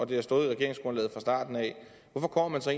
det har stået i regeringsgrundlaget fra starten hvorfor kommer man så